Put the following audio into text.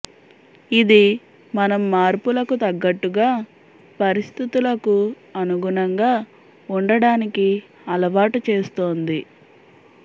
ఇది మనం మార్పులకు తగ్గట్టుగా పరిస్థితులకు అనుగుణంగా ఉండడానికి అలవాటు చేస్తుంది